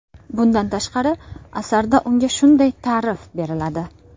Bundan tashqari, asarda unga shunday ta’rif beriladi.